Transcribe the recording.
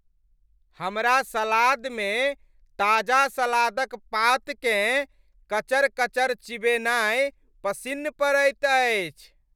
हमरा सलादमे ताजा सलाद क पात केँ कचर कचर चिबेनाइ पसिन्न पड़ैत अछि।